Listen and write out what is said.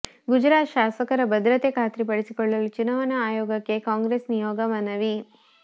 ಗುಜರಾತ್ ಶಾಸಕರ ಭದ್ರತೆ ಖಾತ್ರಿಪಡಿಸಲು ಚುನಾವಣಾ ಆಯೋಗಕ್ಕೆ ಕಾಂಗ್ರೆಸ್ ನಿಯೋಗ ಮನವಿ